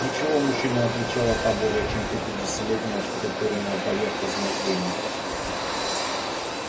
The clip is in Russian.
ничего мужчина отвечала та более чем пятидесятилетняя оштукатуренная поверх измождения